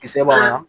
Kisɛ b'a la